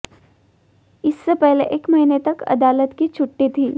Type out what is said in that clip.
इससे पहले एक महीने तक अदालत की छुट्टी थी